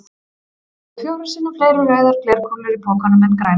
Það eru fjórum sinnum fleiri rauðar glerkúlur í pokanum en grænar.